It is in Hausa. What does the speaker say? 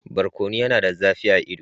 Barkono yana da zafi a ido.